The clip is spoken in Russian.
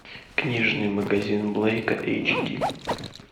книжный магазин блэка эйч ди